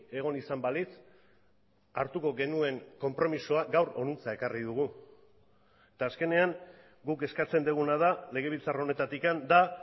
egon izan balitz hartuko genuen konpromisoa gaur honantza ekarri dugu eta azkenean guk eskatzen duguna da legebiltzar honetatik da